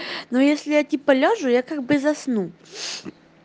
ну если я тебе положу я как бы заснул